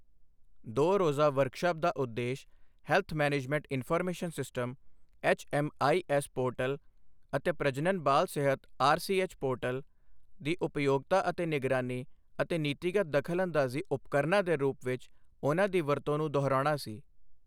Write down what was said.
ਦੋ ਰੋਜ਼ਾ ਵਰਕਸ਼ਾਪ ਦਾ ਉਦੇਸ਼ health management information system HMIS portal ਅਤੇ ਪ੍ਰਜਨਨ ਬਾਲ ਸਿਹਤ ਆਰਸੀਐਚ ਪੋਰਟਲ ਦੀ ਉਪਯੋਗਤਾ ਅਤੇ ਨਿਗਰਾਨੀ ਅਤੇ ਨੀਤੀਗਤ ਦਖਲਅੰਦਾਜ਼ੀ ਉਪਕਰਨਾਂ ਦੇ ਰੂਪ ਵਿੱਚ ਉਨ੍ਹਾਂ ਦੀ ਵਰਤੋਂ ਨੂੰ ਦੁਹਰਾਉਣਾ ਸੀ।